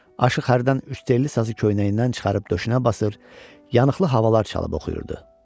Aşıq hərdən üçtelli sazı köynəyindən çıxarıb döşünə basır, yanıqlı havalar çalıb oxuyurdu.